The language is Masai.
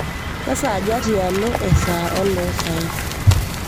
kesaaja tialo esaa oloosaen